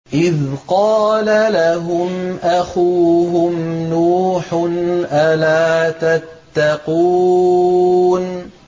إِذْ قَالَ لَهُمْ أَخُوهُمْ نُوحٌ أَلَا تَتَّقُونَ